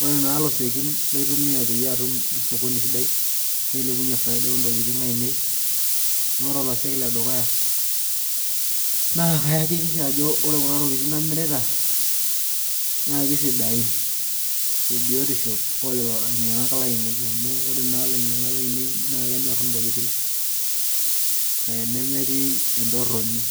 Ore naa ilosekin laitumia pee atum sokoni sidai nailepunye faida oo ntokitin ainei naa ore oloseki ledukuya naa kayakikisha ajo ore kuna tokitin namirita na kesidain tebiyotisho oo lolo ainyangak lainei amu ore naa ilainyangak lainei naa kenyorr intokitin nemetii entoroni